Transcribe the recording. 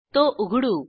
तो उघडू